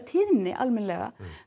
tíðni almennilega